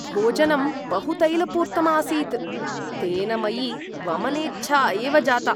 भोजनं बहु तैलपूर्तम् आसीत्, तेन मयि वमनेच्छा एव जाता।